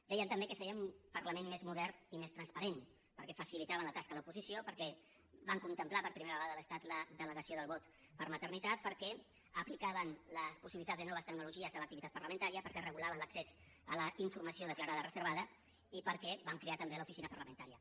dèiem també que fèiem un parlament més modern i més transparent perquè facilitàvem la tasca a l’oposició perquè vam contemplar per primera vegada a l’estat la delegació del vot per maternitat perquè aplicàvem les possibilitats de noves tecnologies a l’activitat parlamentària perquè regulàvem l’accés a la informació declarada reservada i perquè vam crear també l’oficina parlamentària